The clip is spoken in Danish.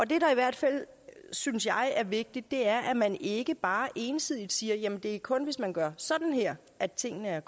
der i hvert fald synes jeg er vigtigt er at man ikke bare ensidigt siger jamen det er kun hvis man gør sådan her at tingene er